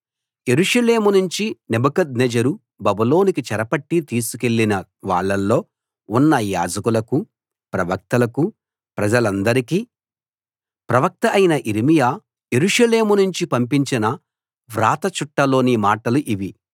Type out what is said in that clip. యెరూషలేము నుంచి నెబుకద్నెజరు బబులోనుకు చెరపట్టి తీసుకెళ్ళిన వాళ్ళలో ఉన్న యాజకులకూ ప్రవక్తలకూ ప్రజలందరికీ ప్రవక్త అయిన యిర్మీయా యెరూషలేము నుంచి పంపించిన వ్రాత చుట్ట లోని మాటలు ఇవి